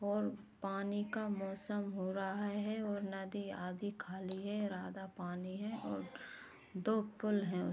और पानी का मौसम हो रहा है और नदी आधी खाली है राधा पानी है और दो पुल हैं